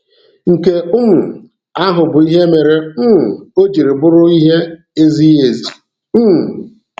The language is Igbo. Nke um ahụ bụ ihe mere um o jiri bụrụ ihe ezighi ezi. um